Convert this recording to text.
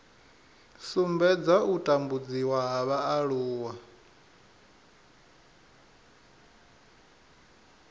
sumbedza u tambudziwa ha vhaaluwa